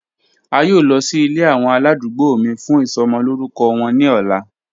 A yoo lọ si ile awọn aladugbo mi fun isomo lorukọ wọn ni ọla.